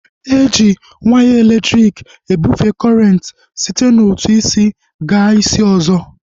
Eji waya elektriki ebufee kọrenti site n'otu isi gaa isi ọzọ